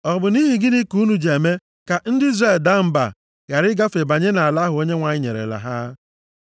Ọ bụ nʼihi gịnị ka unu ji eme ka ndị Izrel daa mba ghara ịgafe banye nʼala ahụ Onyenwe anyị nyerela ha?